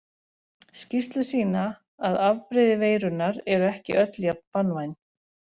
Skýrslur sýna að afbrigði veirunnar eru ekki öll jafn banvæn.